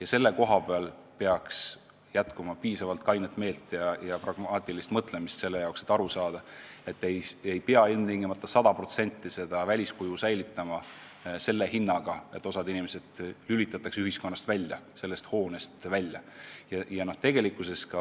Otsustajatel peaks jätkuma piisavalt kainet meelt ja pragmaatilist mõtlemist, et aru saada, et ei pea ilmtingimata 100% väliskuju säilitama selle hinnaga, et osa inimesi lülitatakse ühiskonnast välja, kuna konkreetsele hoonele ei pääse ligi.